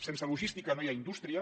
sense logística no hi ha indústria